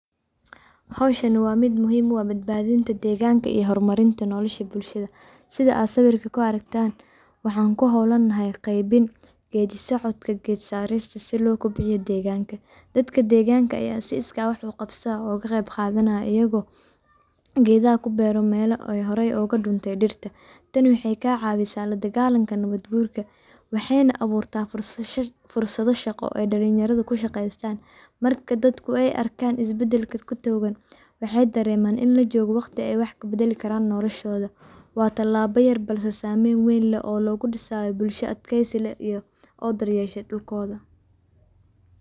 Hawshani waa muhim u ah badhbaadinta dheeganka iyo horumarinta nolosha bulshada sida aad sawirka kuaragtaan waxaan kuhowlanahy qeybin geedi socodka geet saarista si loo kobciyo dheeganka, dadka deeganka ayaa si iska wax u qabsadaa oo u qeyb qadanayaan ayagoo ku beero geda melaha horey ooga dhuntay dhirta tani waxay kaa caawisa la dhagaalanka nabad guurka waxay nah abuurtaa fursadha shaqo ooy dhalinyarda ku shaqeystaan marka dadku ay arkaan is bedelka kudigooda waxay dhareeman in lajoogfo waqti wax ay kabedeli karaan noloshooda waa tallaabo yar balse saameyn weyn leh oo loogu dhisaayo bulsho adkeysi leh oo dharyeeshe dhulkooda.